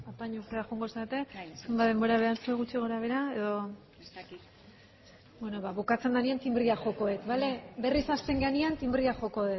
joango zarete zenbat denbora behar duzu gutxi gora behera edo ez dakit beno bukatzen denean tinbrea joko dut bale berriz hasten garenean tinbrea joko